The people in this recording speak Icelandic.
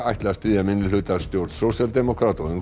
ætla að styðja minnihlutastjórn sósíaldemókrata og